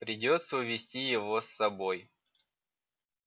придётся увести его с собой